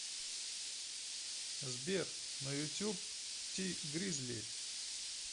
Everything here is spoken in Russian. сбер на ютюб ти гризли